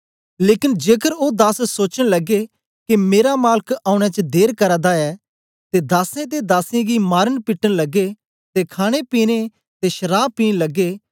लेकन जेकर ओ दास सोचन लगे के मेरा मालक औने च देर करा दा ऐ ते दासें ते दासियें गी मारनपिटन लगे ते खाणेपीने ते शराव पीन लगे